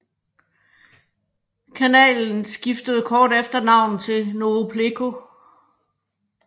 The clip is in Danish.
Kanalen skiftede kort efter navn til Novopleco